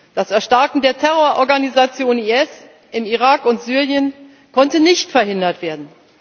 Das Erstarken der Terrororganisation IS im Irak und Syrien konnte nicht verhindert werden.